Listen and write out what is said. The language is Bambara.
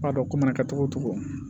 I b'a dɔn ko mana kɛ cogo o cogo